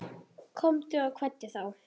Honum var ekki svarað.